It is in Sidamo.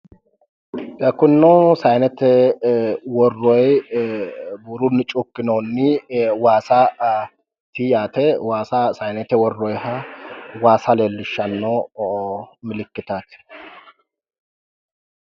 Kunino sayinete worroyi buurunni cuukkinoonni waasaati yaate. Waasa sayinete worroyiha waasa leellishshanno milikkitaati.